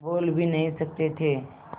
बोल भी नहीं सकते थे